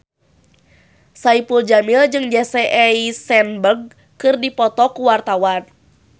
Saipul Jamil jeung Jesse Eisenberg keur dipoto ku wartawan